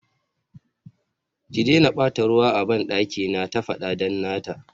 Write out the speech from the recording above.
ki daina bata ruwa a bandaki na, ta fada dan nata